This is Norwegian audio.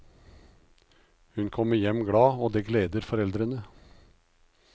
Hun kommer hjem glad, og det gleder foreldrene.